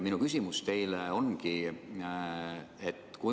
Minu küsimus teile on selline.